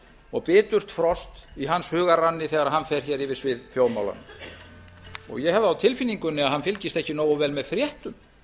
og biturt frost í hans hugarranni þegar hann fer hér yfir svið þjóðmál ég hef það á tilfinningunni að hann fylgist ekki nógu vel með fréttum